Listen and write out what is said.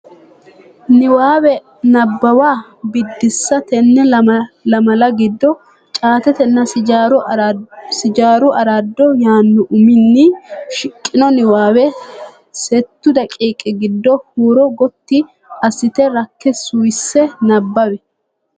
Niwaawe Nabbawa Biddissa Tenne lamala giddo “Caatetenna Sijaaru Araado” yaanno uminni shiqqino niwaawe settu daqiiqi giddo huuro gotti assite, rakke, suwisse nabbawi.